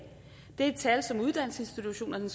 det er tal som uddannelsesinstitutionerne